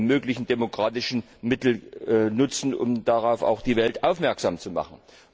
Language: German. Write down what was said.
möglichen demokratischen Mittel nutzen, um darauf auch die Welt aufmerksam zu machen.